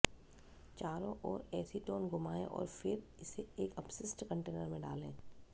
चारों ओर एसीटोन घुमाएं और फिर इसे एक अपशिष्ट कंटेनर में डालें